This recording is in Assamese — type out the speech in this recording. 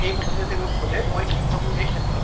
এই কথাটো যদি মই সোধে মই কি ভাবো এই ক্ষেত্ৰত